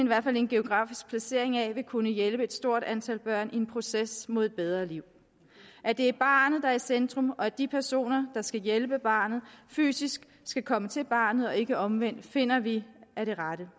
geografisk placering af vil kunne hjælpe et stort antal børn i en proces mod et bedre liv at det er barnet der er i centrum og at de personer der skal hjælpe barnet fysisk skal komme til barnet og ikke omvendt finder vi er det rette